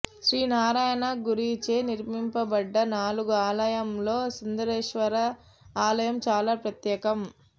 శ్రీ నారాయణ గురుచే నిర్మింపబడ్డ నాలుగు ఆలయంలో సుందరేశ్వర్వ ఆలయం చాలా ప్రత్యేకం